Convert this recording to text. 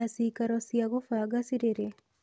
Na ciikaro cia gũbanga cirĩ rĩ?